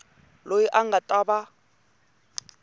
loyi a nga ta va